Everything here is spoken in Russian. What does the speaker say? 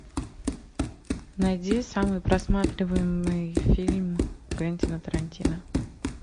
найди самый просматриваемый фильм квентина тарантино